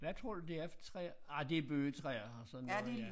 Hvad tror du det er for træer ej det bøgetræer og sådan noget ja